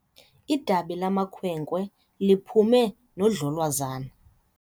Idabi lamakhwenkwe liphume nodlolwazana.